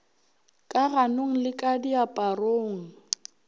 ka ganong le ka diaparong